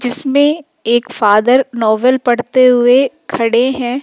जिसमें एक father novel पढ़ते हुए खड़े हैं।